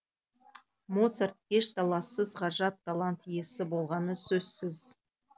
моцарт еш талассыз ғажап талант иесі болғаны сөзсіз